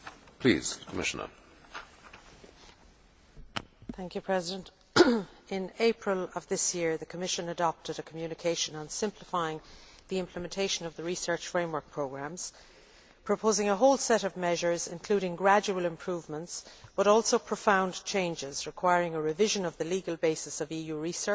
In April of this year, the Commission adopted a communication on simplifying the implementation of the research framework programmes, proposing a whole set of measures including gradual improvements but also profound changes requiring a revision of the legal basis of EU research and a rebalancing between trust and control and between risk taking and risk avoidance.